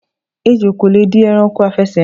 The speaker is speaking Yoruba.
Ejò kò le di e̩ranko afè̩sè̩rìn.